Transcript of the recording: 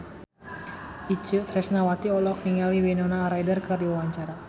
Itje Tresnawati olohok ningali Winona Ryder keur diwawancara